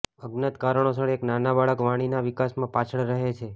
અજ્ઞાત કારણોસર એક નાના બાળક વાણીના વિકાસમાં પાછળ રહે છે